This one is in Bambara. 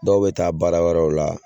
Dɔw bɛ taa baara wɛrɛw la.